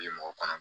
Bi mɔgɔ kɔnɔ